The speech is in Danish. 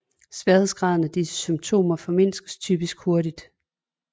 Sværhedsgraden af disse symptomer formindskes typisk hurtigt